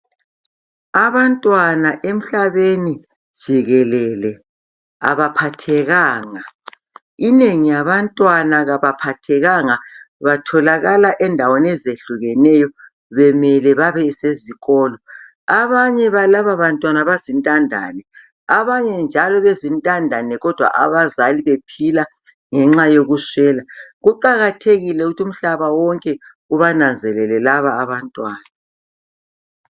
Abantwana emhlabeni jikelele abaphathekanga, inengi yabantwana kabaphathekanga batholakala endaweni eziyehlukeneyo bemele babesezikolo. Abanye balaba bantwana bazintandane, abanye njalo bezintandane kodwa abazali bephila ngenxa yokuswela kuqakathekile ukuthi umhlaba wonke ubananzelele laba abantwana.